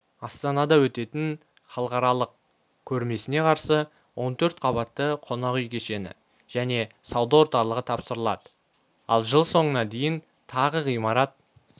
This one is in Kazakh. астанада өтетін халықаралық көрмесіне қарсы он төрт қабатты қонақ үй кешені және сауда орталығы тапсырылады ал жыл соңына дейін тағы ғимарат